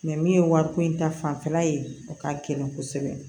min ye wari ko in ta fanfɛla ye o ka gɛlɛn kosɛbɛ